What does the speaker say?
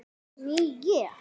Ný ég.